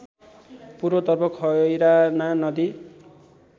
पूर्वतर्फ खैराना नदी